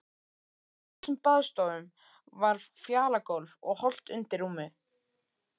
Í flestum baðstofum var fjalagólf og holt undir rúmin.